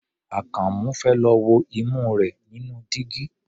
Àkànmú fẹ́ lọ wo imú rẹ̀ nínú dígí.